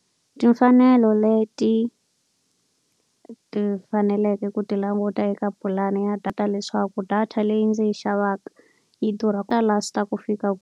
Timfanelo leti ti faneleke ku ti languta eka pulani ya data leswaku data leyi ndzi yi xavaka yi durha yi ta last-a ku fika.